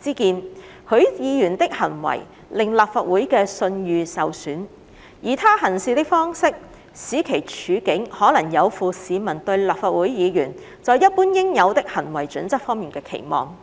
之見，許議員的行為令立法會的信譽受損，而他行事的方式，使其處境可能有負市民對立法會議員在一般應有的行為準則方面的期望。